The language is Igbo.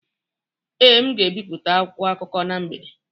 Ee, m ga-ebipụta akwụkwọ akụkọ na mgbede